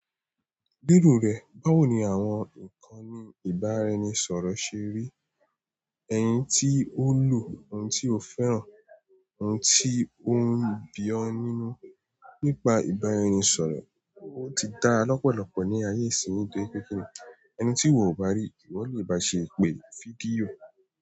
Lérò rẹ̀, báwo ni àwọn nkàn nì ìbáraẹnisọ̀rọ̀ ṣe rí eni tí o lo, ohun tí o fẹ́ràn, oun ti o n bí o nínú nípa ìbáraẹnisọ̀rọ̀ o ti dára lọ́pọ̀lọpọ̀ ni ayé ìsìn yi torípé kíni, ẹni tí ìwọ o bá rí, ìwọ lè baa ṣe ìpè, fídíò.